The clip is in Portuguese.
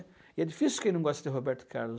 E é difícil quem não gosta de Roberto Carlos.